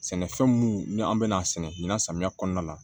Sɛnɛfɛn minnu ni an bɛna sɛnɛ ɲina samiya kɔnɔna la